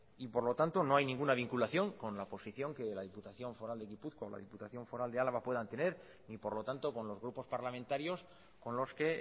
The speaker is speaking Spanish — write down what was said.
y por lo tanto no hay ninguna vinculación con la posición que la diputación foral de gipuzkoa o la diputación foral de álava puedan tener y por lo tanto con los grupos parlamentarios con los que